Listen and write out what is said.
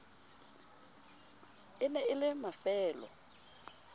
e ne e le mafelo